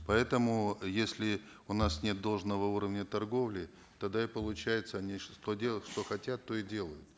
поэтому если у нас нет должного уровня торговли тогда и получается они что делают что хотят то и делают